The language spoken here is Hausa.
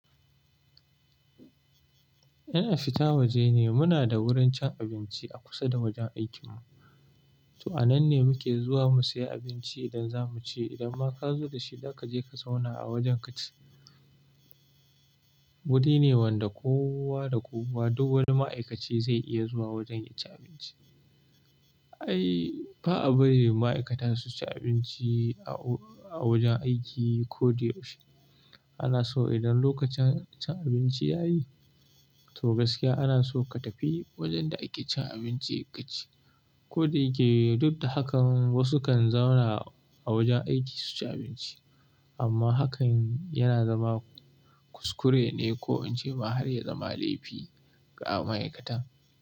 Ina fita waje ne, muna da wurin cin abinci a kusa da wajen aikin mu. To a nan ne muke zuwa mu sayi abinci idan za mu ci. Idan ma ka zo da shi, za ka je ka zauna a wajen ka ci. Wuri ne wanda kowa da kowa, duk wani ma'aikaci zai iya zuwa wajen ya ci abinci. Ai, ba a bari ma'aikata su ci abinci a, a wajen aiki ko da yaushe. Ana so idan lokacin cin abinci ya yi, to gaskiya ana so ka tafi wajen da ake cin abinci ka ci. Ko da yake duk da hakan wasu kan zauna a wajen aiki su ci abinci. Amma hakan yana zama kuskure ne ko in ce ma har ya zama laifi ga ma'aikata.